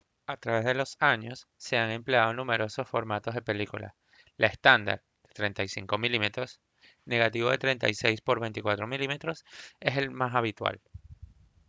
a través de los años se han empleado numerosos formatos de películas. la estándar de 35 mm negativo de 36 por 24 mm es la más habitual